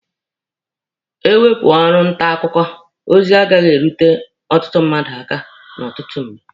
E wepụ ọrụ nta akụkọ, ozi agaghị na-erute ọtụtụ mmadụ aka n'otu mgbe.